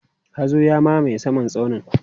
hazo ya mamaye saman tsaunin